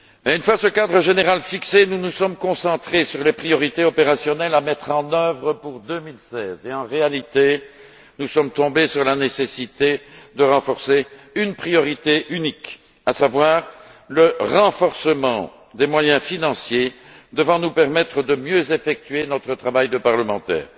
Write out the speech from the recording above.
Une fois ce cadre général fixé, nous nous sommes concentrés sur les priorités opérationnelles à mettre en œuvre pour 2016 et, en réalité, nous sommes tombés d'accord sur la nécessité de renforcer une priorité unique, à savoir le renforcement des moyens financiers devant nous permettre de mieux effectuer notre travail de parlementaires.